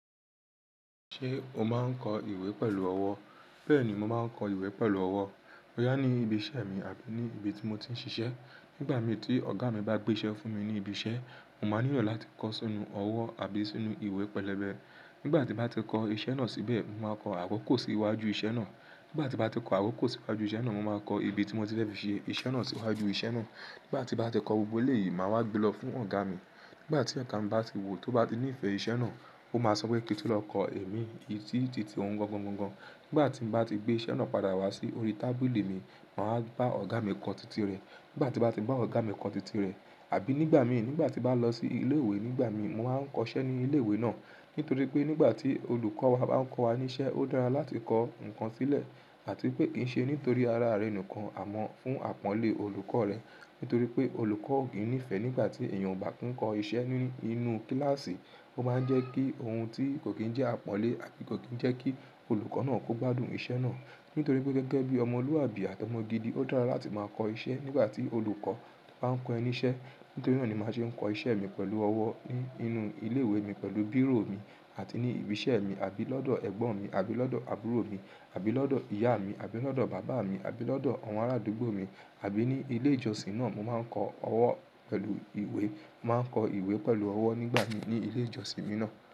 Ṣé o máa ń kọ ìwé pẹ̀lú ọwọ́? Bẹ́ẹ̀ni, mo máa ń kọ ìwé pẹ̀lú ọwọ́. Boyà ni ibi iṣẹ́ mi àbí ni ibi tí mo ti ń ṣiṣẹ́. Nígbà mi tí ọ̀gá mi bá gbé iṣẹ́ fún mi ní ibi iṣẹ́, mo máa nílò láti kọ sínú ọwọ́ àbí sínú ìwé pẹ̀lẹ́bẹ́. Nígbà tí n bá ti kọ iṣẹ́ náà síbẹ̀, mo má kọ àkokò sí iwájú iṣẹ́ náà. Nígbà tí mo bá ti kọ àkokò sí iwájú iṣẹ́ náà, mo máa kọ ibi tí mo ti fẹ́ fi ṣe iṣẹ́ náà sí iwájú iṣẹ́ náà. Nígbà tí mo bá ti kọ gbogbo eléyìí, màá wá gbe lọ fún ọ̀gá mi. Nígbà tí ẹka mi bá ti wò ó bá ti nífẹ̀ẹ́ iṣẹ́ náà, ó máa sọ pé kíi tú lọ kọ ẹ̀mí ìtí titi òun gangan gan gan. Nígbà tí mo bá ti gbé iṣẹ́ náà padà wá sí orí tábìlì mi, màá bá ọ̀gá mi kọ titi rẹ̀. Nígbà tí màá bá ọ̀gá mi kọ titi rẹ̀, àbí nígbà mi, nígbà tí màá lọ sí ilé ìwé nígbà mi, màá ń kọ iṣẹ́ ní ilé ìwé náà. Nítorí pé nígbà tí olùkọ́ wa bá ń kọ wa níṣẹ́, ó dára láti kọ nǹkan sílẹ̀ àti pé kìí ṣe nítorí ara rẹ̀ nìkan, àmọ́ fún àpọ́nlé olùkọ́ rẹ̀. Nítorí pé olùkọ́ ò kí nífẹ̀ẹ́ nígbà tí èèyàn ò bá kún kọ iṣẹ́ nínú kíláàsì, ó máa ń jẹ́ kí ohun tí kò kín jẹ́ àpọ́nlé àti kò kín jẹ́ kí olùkọ́ náà kó gbádùn iṣẹ́ náà. Nítorí pé gẹ́gẹ́ bí ọmọlúwàbí àti ọmọ gidi, ó dára láti máa kọ iṣẹ́ nígbà tí olùkọ́ bá ń kọ ẹni iṣẹ́. Nítorí náà ni màá ṣe ń kọ iṣẹ́ mi pẹ̀lú ọwọ́ ní inú ilé ìwé mi pẹ̀lú bírò mi àti ní ibi iṣẹ́ mi, àbí lọ́dọ̀ ẹ̀gbọ́n mi, àbí lọ́dọ̀ àbúrò mi, àbí lọ́dọ̀ ìyá mi, àbí lọ́dọ̀ bàbá mi, àbí lọ́dọ̀ àwọn arádúgbò mi, àbí ní ilé ìjọsìn náà. Mo máa ń kọ ọwọ́ pẹ̀lú ìwé. Mo máa ń kọ ìwé pẹ̀lú ọwọ́ nígbà mi ní ilé ìjọsìn mi náà.